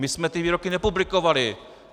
My jsme ty výroky nepublikovali.